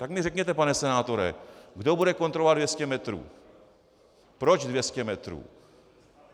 Tak mi řekněte, pane senátore, kdo bude kontrolovat 200 metrů, proč 200 metrů.